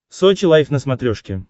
сочи лайв на смотрешке